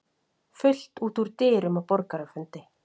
Fullt út úr dyrum á borgarafundi